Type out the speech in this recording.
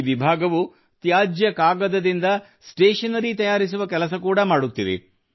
ಈ ವಿಭಾಗವು ತ್ಯಾಜ್ಯ ಕಾಗದದಿಂದ ಸ್ಟೇಷನರಿ ತಯಾರಿಸುವ ಕೆಲಸ ಕೂಡಾ ಮಾಡುತ್ತಿದೆ